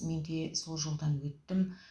мен де сол жолдан өттім